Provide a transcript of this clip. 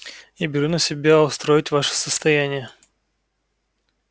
я беру на себя устроить ваше состояние